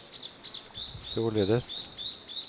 således